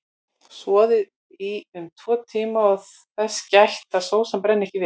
Soðið í um tvo tíma og þess gætt að sósan brenni ekki við.